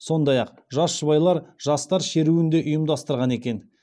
сондай ақ жас жұбайлар жастар шеруін де ұйымдастырған екен